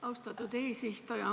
Austatud eesistuja!